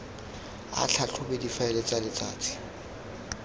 a tlhatlhobe difaele tsa letsatsi